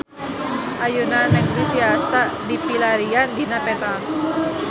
Ayeuna Nagreg tiasa dipilarian dina peta